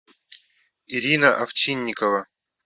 ирина овчинникова